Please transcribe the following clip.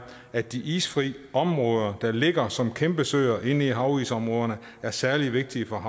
at de isfri områder der ligger som kæmpe søer inde i havisområderne er særlig vigtige for